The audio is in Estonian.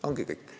Ongi kõik.